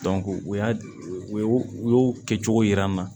u y'a u y'o kɛ cogo yira n na